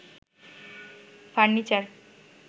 furniture